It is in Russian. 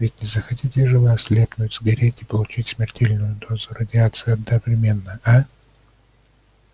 ведь не захотите же вы ослепнуть сгореть и получить смертельную дозу радиации одновременно а